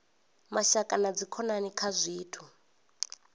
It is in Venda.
mashaka na dzikhonani kha zwithu